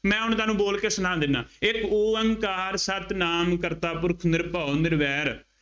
ਮੈਂ ਹੁਣ ਤੁਹਾਨੂੰ ਬੋਲ ਕੇ ਸੁਣਾ ਦਿੰਦਾ, ਇੱਕ ਉਅੰਕਾਰ ਸਤਿਨਾਮ ਕਰਤਾ ਪੁਰਖੁ ਨਿਰਭਉ ਨਿਰਵੈਰੁ